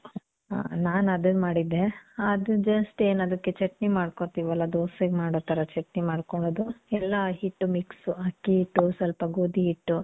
ಆ. ನಾನ್ ಅದುನ್ ಮಾಡಿದ್ದೆ. ಅದು just ಏನದುಕ್ಕೆ ಚಟ್ನಿ ಮಾಡ್ಕೊತೀವಲ್ಲ? ದೋಸೆಗ್ ಮಾಡೋ ಥರ ಚಟ್ನಿ ಮಾಡ್ಕೊಳ್ಳೋದು. ಎಲ್ಲ ಹಿಟ್ಟು mix. ಅಕ್ಕಿ ಹಿಟ್ಟು, ಸ್ವಲ್ಪ ಗೋದಿ ಹಿಟ್ಟು,